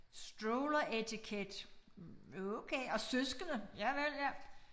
Stroller educate okay og søskende javel ja